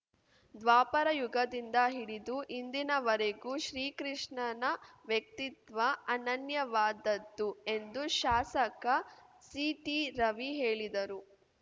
ದ್ವಾಪರಯುಗದಿಂದ ಹಿಡಿದು ಇಂದಿನವರೆಗೂ ಶ್ರೀಕೃಷ್ಣನ ವ್ಯಕ್ತಿತ್ವ ಅನನ್ಯವಾದದ್ದು ಎಂದು ಶಾಸಕ ಸಿಟಿರವಿ ಹೇಳಿದರು